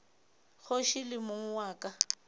kgoši le mong wa ka